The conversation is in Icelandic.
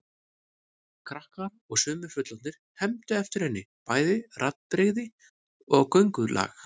Krakkar og sumir fullorðnir hermdu eftir henni, bæði raddbrigði og göngulag.